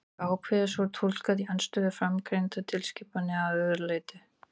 Er ákvæðið svo túlkað í andstöðu við framangreindar tilskipanir að öðru leyti?